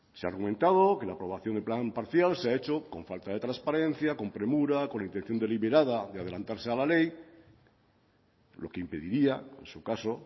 se ha argumentado que la aprobación del plan parcial se ha hecho con falta de transparencia con premura con la intención deliberada de adelantarse a la ley lo que impediría en su caso